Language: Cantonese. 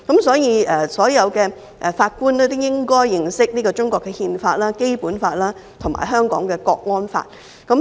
所以，所有法官都應該認識中國的憲法、《基本法》和《香港國安法》。